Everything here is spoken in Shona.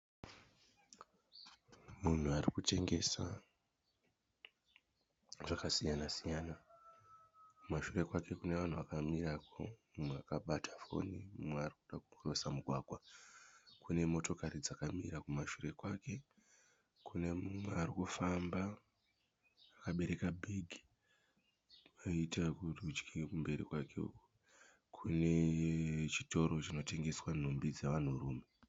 Munhu arikutengesa zvakasiyana- siyana, kumashure kwake kune vanhu vakamirirako mumwe akabata foni mumwe arikuda kukirosa mugwagwa kunemotokari dzakamira kumashure kwake kune mumwe arikufamba akaberaka bhegi koita kurudyi kumberi kwake kune chitoro chinotengesa nhumbi dzevanhurume.